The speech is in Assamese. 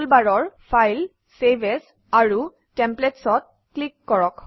টুলবাৰৰ ফাইল চেভ এএছ আৰু Templates অত ক্লিক কৰক